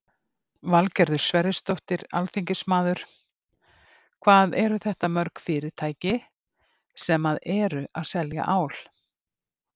Valgerður Sverrisdóttir, alþingismaður: Hvað eru þetta mörg fyrirtæki sem að eru að selja ál?